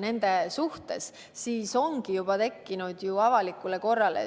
Sellisel juhul ongi juba tekkinud reaalne oht avalikule korrale,